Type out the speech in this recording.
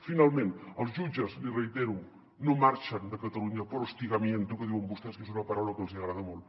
finalment els jutges li reitero no marxen de catalunya por hostigamiento que diuen vostès que és una paraula que els agrada molt